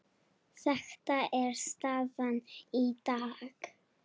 Þetta er staðan í dag.